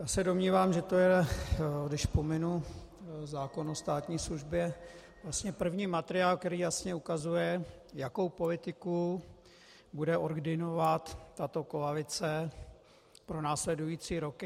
Já se domnívám, že to je, když pominu zákon o státní službě, vlastně první materiál, který jasně ukazuje, jakou politiku bude ordinovat tato koalice pro následující roky.